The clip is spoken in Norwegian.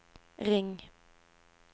ring